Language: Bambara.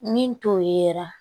Min to yera